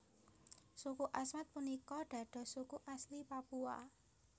Suku Asmat punika dados suku asli Papua